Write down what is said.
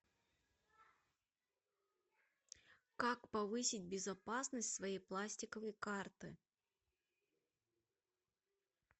как повысить безопасность своей пластиковой карты